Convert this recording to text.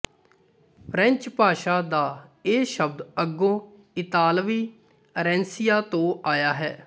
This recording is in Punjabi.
ਫਰੈਂਚ ਭਾਸ਼ਾ ਦਾ ਇਹ ਸ਼ਬਦ ਅੱਗੋਂ ਇਤਾਲਵੀ ਅਰੈਂਸੀਆ ਤੋਂ ਆਇਆ ਹੈ